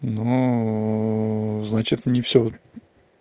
ну значит не всё